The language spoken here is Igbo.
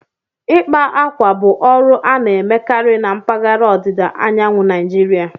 Ịkpa akwa bụ ọrụ a na-emekarị na mpaghara ọdịda anyanwụ Naijiria